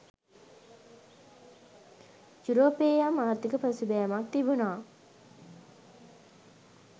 යුරෝපයේ යම් ආර්ථික පසුබෑමක් තිබුණා.